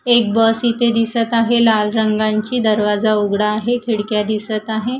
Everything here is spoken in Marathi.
एक बस इथे दिसत आहे लाल रंगांची दरवाजा उघडा आहे खिडक्या दिसत आहे.